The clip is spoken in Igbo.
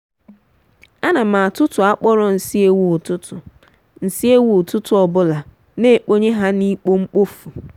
ana m atutu akporo nsi ewu ụtụtụ nsi ewu ụtụtụ obula n’ekponye ha na ikpo mkpofu.